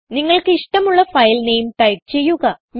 നിങ്ങൾക്ക് ഇഷ്ടമുള്ള file name type ചെയ്യുക